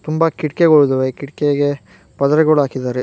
ತುಂಬಾ ಕಿಡಕೆಗಳಿದ್ದಾವೆ ಕಿಡಕಿಗೆ ಪದರೆಗಳು ಹಾಕಿದ್ದಾರೆ.